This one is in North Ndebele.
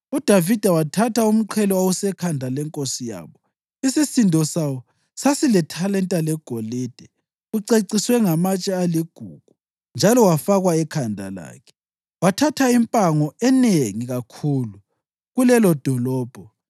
UDavida wathatha umqhele owawusekhanda lenkosi yabo, isisindo sawo sasilithalenta legolide, uceciswe ngamatshe aligugu njalo wafakwa ekhanda lakhe. Wathatha impango enengi kakhulu kulelodolobho